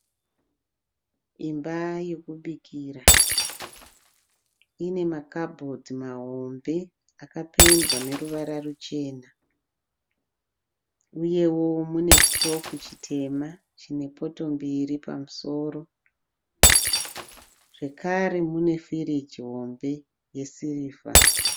Imba yokubikira. Ine makabhodhi mahombe akapendwa neruvara ruchena uyewo mune chitofu chitema chine poto mbiri pamusoro zvekare munefiriji hombe yesirivha.